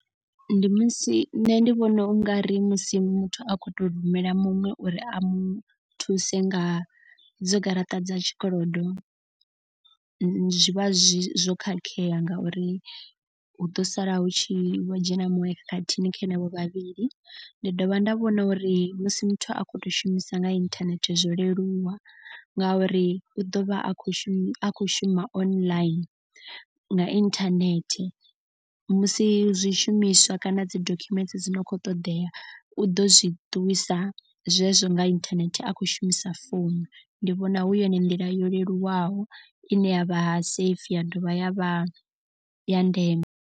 Ndi musi nṋe ndi vhona ungari musi muthu a kho to rumela muṅwe uri a mu thuse nga dzo garaṱa dza tshikolodo. Zwi vha zwi zwo khakhea ngauri hu ḓo sala hu tshi vho dzhena muṅwe khakhathini kha henevho vhavhili. Ndi dovha nda vhona uri musi muthu a kho to shumisa nga inthanethe zwo leluwa. Ngauri u ḓo vha a khou shuma akhou shuma online nga internet. Musi zwishumiswa kana dzi dokhumenthe dzo no kho ṱoḓea u ḓo zwi ṱuwisa zwezwo nga inthanethe a khou shumisa founu. Ndi vhona hu yone nḓila yo leluwaho i ne ya vha safe ya dovha ya vha ya ndeme.